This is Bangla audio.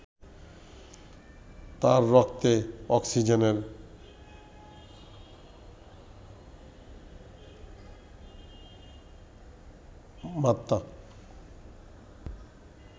তার রক্তে অক্সিজেনের মাত্রা